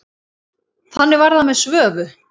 Þannig var það með Svövu.